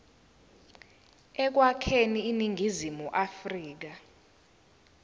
ekwakheni iningizimu afrika